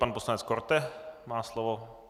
Pan poslanec Korte má slovo.